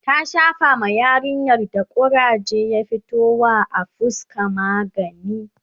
ta Shafa ma yarinyar da kuraje ya fito wa a fuska magani